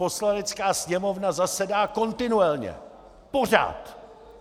Poslanecká sněmovna zasedá kontinuálně pořád.